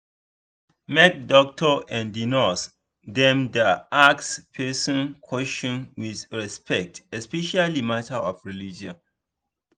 make doctor and nurse dem da ask person question with respect especially matter of religion